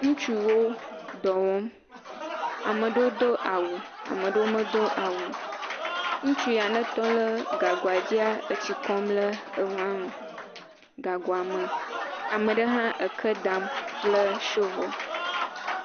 Ŋutsuwo dɔ wɔ. Ame ɖewo do awu. Ame ɖewo medo awu o. Ŋutsu ya netɔ lɛɛ gagoa dzia, etsi kɔm lɛ enua me, gagoa me. Ame ɖe hã eke dam kple shovoli.